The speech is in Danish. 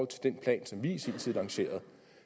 den plan som vi i sin tid lancerede